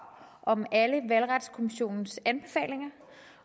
om alle valgretskommissionens anbefalinger